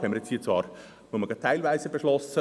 Wir haben dies zwar hier nur teilweise beschlossen.